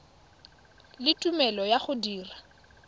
le tumelelo ya go dira